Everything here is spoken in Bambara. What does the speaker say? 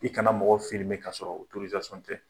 I kana mɔgɔw ka sɔrɔ tɛ.